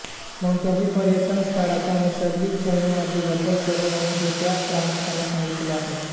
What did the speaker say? कोणत्याही पर्यटन स्थळाच्या नैसर्गिक ठेवणीमध्ये बदल करू नये हे त्यात प्रामुख्याने सांगितले आहे